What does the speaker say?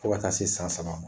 Fo ka taa se san saba ma.